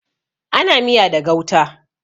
Ana miya da gauta.